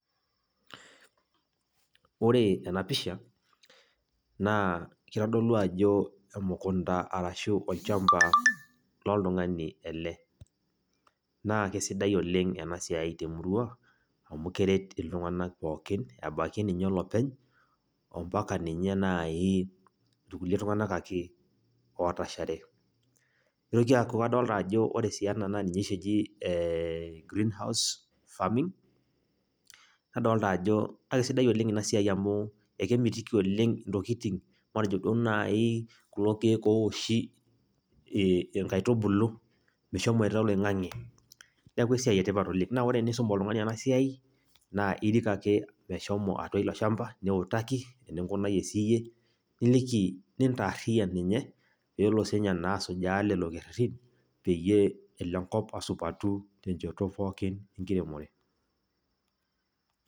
Ore ena pisha, naa kitodolu ajo emukunda arashu olchamba loltung'ani ele. Na kesidai oleng enasiai temurua, amu keret iltung'anak pookin, ebaiki ninye olopeny ompaka ninye nai irkulie tung'anak ake otashare. Nitoki aku kadolta ajo ore si ena na ninye oshi eji greenhouse farming, nadolta ajo akesidai oleng inasiai amu, ekemitiki oleng intokiting matejo duo nai kulo keek owoshi inkaitubulu, meshomoita oloing'ang'e. Neeku esiai etipat oleng. Na ore enisum oltung'ani enasiai, na irik ake meshomo atua ilo shamba, niutaki eninkunayie siyie, niliki, nintaarriyian ninye, pelo sinye naa asujaa lelo kerrerrin, peyie elo enkop asupati tenchoto pookin enkiremore.